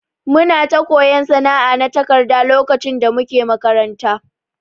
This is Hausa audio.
Muna ta koyon sana'a na takarda lokacin da muke makaranta.